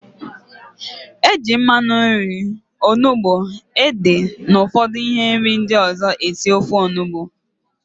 Eji mmanụ nri, onugbu, ede na ụfọdụ ihe nri ndị ọzọ esi ofe Onugbu